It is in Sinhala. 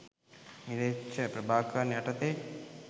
ම්ලේච්ඡ ප්‍රභාකරන් යටතේ